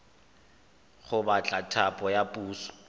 go batla thapo ya puso